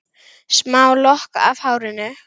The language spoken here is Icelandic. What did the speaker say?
Smá lokk af hárinu.